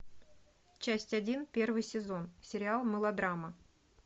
часть один первый сезон сериал мылодрама